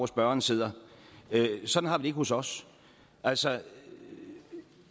spørgeren sidder sådan har vi hos os altså